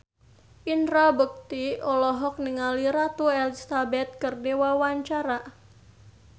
Indra Bekti olohok ningali Ratu Elizabeth keur diwawancara